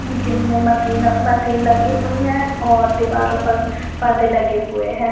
Gym मे machine लगी हुई है और दीवार पर परदे लगे हुए है।